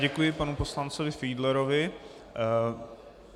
Děkuji panu poslanci Fiedlerovi.